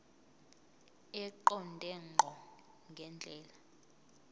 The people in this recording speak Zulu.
eqonde ngqo ngendlela